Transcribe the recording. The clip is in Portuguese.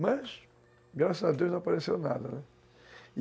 Mas, graças a Deus, não apareceu nada, né.